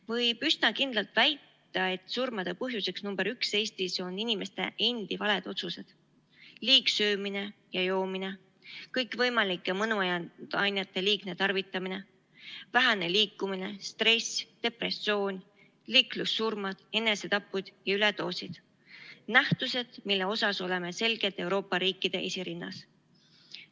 Võib üsna kindlalt väita, et surmade põhjuseks number üks Eestis on inimeste endi valed otsused: liigsöömine ja -joomine, kõikvõimalike mõnuainete liigne tarvitamine, vähene liikumine, stress, depressioon, liiklussurmad, enesetapud ja üledoosid – nähtused, mille poolest oleme selgelt Euroopa riikide esirinnas.